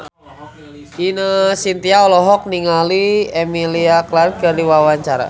Ine Shintya olohok ningali Emilia Clarke keur diwawancara